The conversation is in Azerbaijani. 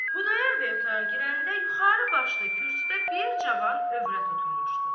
Xudayar bəy otağa girəndə yuxarı başda kürsüdə bir cavan övrət oturmuşdu.